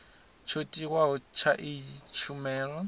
tsho tiwaho tsha iyi tshumelo